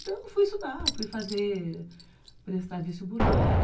Então fui estudar, fui fazer, prestar vestibular